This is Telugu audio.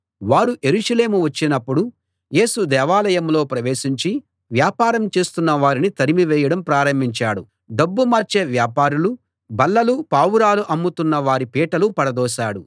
వారు యెరూషలేము వచ్చినప్పుడు యేసు దేవాలయంలో ప్రవేశించి వ్యాపారం చేస్తున్నవారిని తరిమి వేయడం ప్రారంభించాడు డబ్బు మార్చే వ్యాపారుల బల్లలు పావురాలు అమ్ముతున్న వారి పీటలు పడదోశాడు